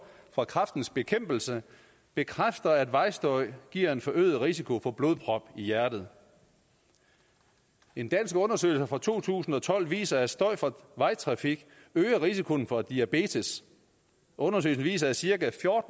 fra kræftens bekæmpelse bekræfter at vejstøj giver en forøget risiko for blodprop i hjertet en dansk undersøgelse fra to tusind og tolv viser at støj fra vejtrafik øger risikoen for diabetes undersøgelsen viser at cirka